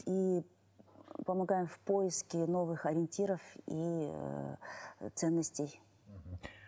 и помогаем в поиске новых ориентиров и ыыы ценностей мхм